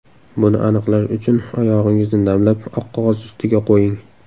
Buni aniqlash uchun oyog‘ingizni namlab, oq qog‘oz ustiga qo‘ying.